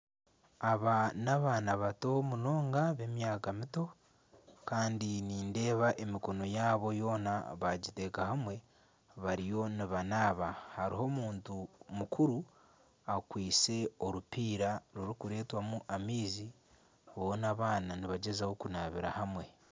Aba n'abaana bato munonga b'emyaka mito kandi nindeeba emikono yaabo boona baagiteeka hamwe bariyo nibanaaba hariyo omuntu mukuru akwitse orupiira rurikureetwamu amaizi boona abaana nibagyezaho kunaabira hamwe